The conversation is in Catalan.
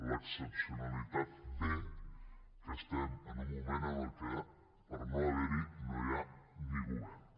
l’excepcionalitat ve que estem en un moment en el que per no haver hi no hi ha ni govern